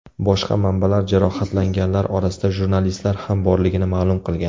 Boshqa manbalar jarohatlanganlar orasida jurnalistlar ham borligini ma’lum qilgan.